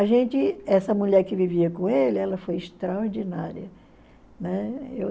A gente, essa mulher que vivia com ele, ela foi extraordinária. Né?